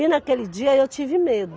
E naquele dia eu tive medo.